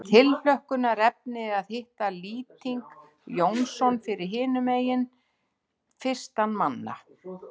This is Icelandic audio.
Það er tilhlökkunarefni að hitta Lýting Jónsson fyrir hinum megin fyrstan manna.